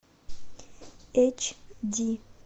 эйч ди